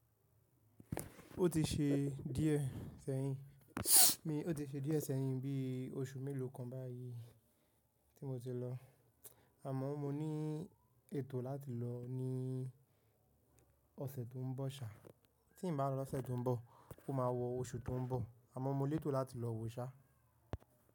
Ó ti ṣe díẹ̀ sẹ́yìn, ó ti ṣe díẹ̀ sẹ́yìn bí oṣù mélòó kan báyìí tí mo ti lọ, àmọ́ mo ní ètò láti lọ ní ọ̀sẹ̀ tó n bọ̀ ṣá. Tí n bá lọ lọ́sẹ̀ tó n bọ̀, ó máa wọ oṣù tó n bọ̀, àmọ́ mo lé ètò láti lọ wo ṣá.